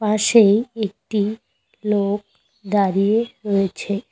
পাশে একটি লোক দাঁড়িয়ে রয়েছে।